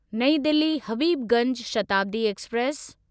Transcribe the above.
नईं दिल्ली हबीबगंज शताब्दी एक्सप्रेस